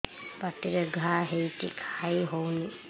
ପାଟିରେ ଘା ହେଇଛି ଖାଇ ହଉନି